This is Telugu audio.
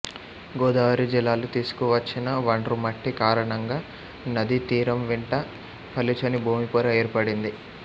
గోదావరి జలాలు తీసుకువచ్చిన వండ్రుమట్టి కారణంగా నదీ తీరంవెంట పలుచని భూమి పొర ఏర్పడింది